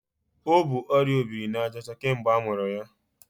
O bu ọrịa obirinajaọcha kemgbe amụrụ ya.